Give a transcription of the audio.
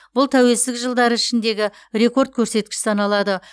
бұл тәуелсіздік жылдары ішіндегі рекорд көрсеткіш саналады